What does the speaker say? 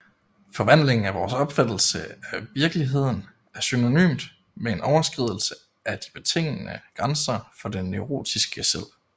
Forvandlingen af vores opfattelse af virkeligheden er synonymt med en overskridelse af de betingende grænser for det neurotiske selv